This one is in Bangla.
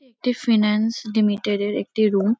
একটি ফিন্যান্স লিমিটেড -এর একটি রুম ।